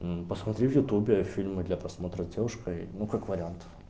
посмотри в ютьюбе фильмы для просмотра с девушкой ну как вариант